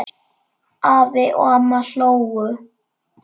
Afi og amma hlógu.